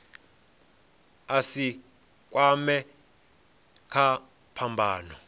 a si kwamee kha phambano